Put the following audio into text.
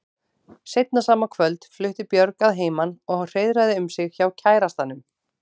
Seinna sama kvöld flutti Björg að heiman og hreiðraði um sig hjá kærastanum.